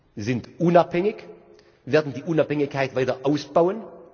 Sie sind unabhängig und werden die Unabhängigkeit weiter ausbauen.